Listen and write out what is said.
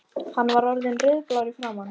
Hann var orðinn rauðblár í framan.